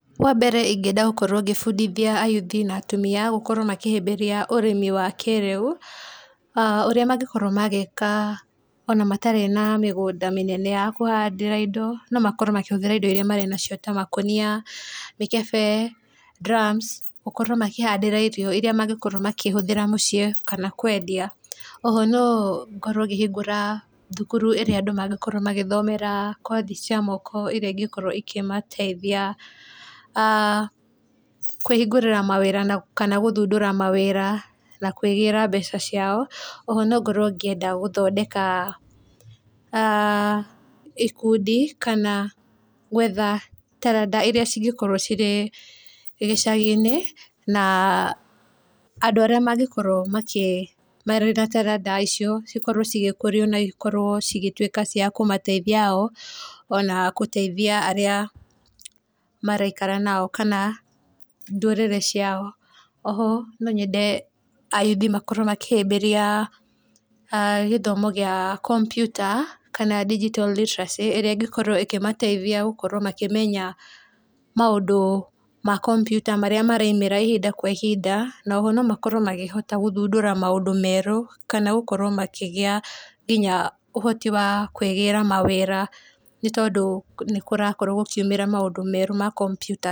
Wa mbere ingĩenda gũkorwo ngĩbundithia a yuthi na atumia gũkorwo makĩhĩmbĩria ũrĩmi wa kĩrĩu ũrĩa mangĩkorwo magĩka ona matarĩ na mĩgũnda mĩnene ya kũhandĩra indo, no makorwo makĩhũthĩra indo iria marĩ nacio ta makũnia, mĩkebe drams gũkorwo makĩhandĩra irio irĩa mangĩkorwo makĩhũthĩra mũciĩ kana kwendia. Oho no ngorwo ngĩhingũra thukuru ĩrĩa andũ mangĩkorwo magĩthomera kothi cia moko ĩrĩa ĩngĩkorwo ĩkĩmateithia kũhingũrĩra mawĩra kana gũthundũra mawĩra na kwĩgĩra na mbeca ciao, o ho no ngorwo ngĩenda ikundi kana gwetha taranda iria cingĩkorwo cirĩ gĩcaginĩ na andũ arĩa mangĩkorwo marĩ na taranda icio cikorwo cigĩkũrio nacikorwo cigĩtuĩka cia kũmateithia o ona gũteithia arĩa maraikara nao kana ndũrĩrĩ ciao. Oho no nyende a yuthi makorwo makĩhĩmbĩria gĩthomo gĩa komputa kana ndingitto riteracĩ ĩrĩa ĩngĩkorwo ĩkĩmateithia gũkorwo makĩmenya maũndũ ma kompiuta marĩa maraumĩra ihinda kwa ihinda, noho nomakorwo makĩhota gũthundũra maũndũ merũ kana gũkorwo makĩgĩa nginya ũhoti wa kwĩgĩra mawĩra, nĩ tondũ nĩkũrakorwo gũkiumĩra maũndũ merũ ma kompiuta.